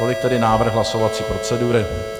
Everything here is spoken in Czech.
Tolik tedy návrh hlasovací procedury.